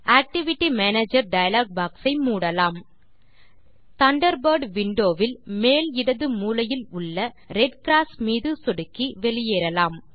activity manager dialog box ஐ மூடலாம் Thunderbird window வில் மேல் இடது மூலையிலுள்ள ரெட் க்ராஸ் மீது சொடுக்கி வெளியேறலாம்